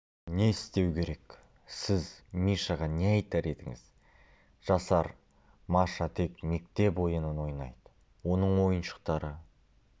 не істеу керек сіз мишаға не айтар едіңіз жасар маша тек мектеп ойынын ойнайды оның ойыншықтары